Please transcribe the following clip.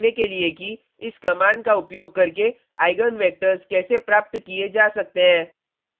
help spec देखें यह देखने के लिए कि इस कमांड का उपयोग करके आईगन वेक्टर्स कैसे प्राप्त किए जा सकते हैं